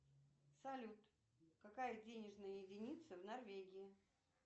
салют какая денежная единица в норвегии